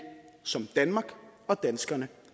som danmark og danskerne